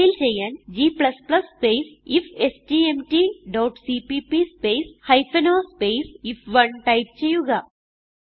compile ചെയ്യാൻ g space ifstmtസിപിപി space o space ഐഎഫ്1 ടൈപ്പ് ചെയ്യുക